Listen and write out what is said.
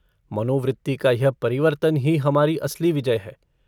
मनोवृत्ति का यह परिवर्तन ही हमारी असली विजय है।